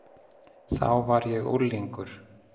Þá var ég unglingur.